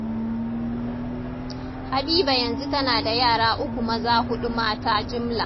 Habiba yanzu tana da yara uku maza, huɗu mata jimla